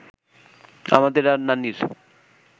আমাদের আর নানির